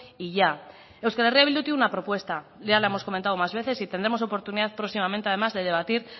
y ya euskal herria bildu tiene una propuesta ya la hemos comentado más veces y tendremos oportunidad próximamente además de debatir